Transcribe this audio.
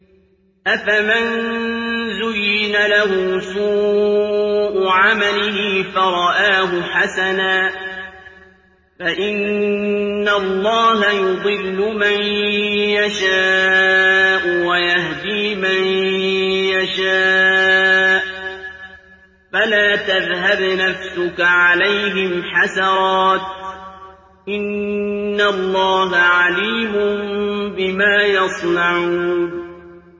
أَفَمَن زُيِّنَ لَهُ سُوءُ عَمَلِهِ فَرَآهُ حَسَنًا ۖ فَإِنَّ اللَّهَ يُضِلُّ مَن يَشَاءُ وَيَهْدِي مَن يَشَاءُ ۖ فَلَا تَذْهَبْ نَفْسُكَ عَلَيْهِمْ حَسَرَاتٍ ۚ إِنَّ اللَّهَ عَلِيمٌ بِمَا يَصْنَعُونَ